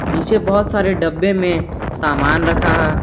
नीचे बहुत सारे डब्बे में सामान रखा है।